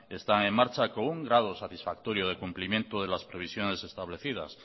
está en marcha con un grado satisfactorio de cumplimiento de las previsiones establecidas